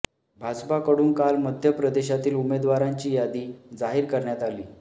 भाजपाकडून काल मध्य प्रदेशातील उमेदवारांची यादी जाहीर करण्यात आली